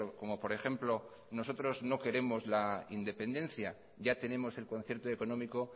como por ejemplo nosotros no queremos la independencia ya tenemos el concierto económico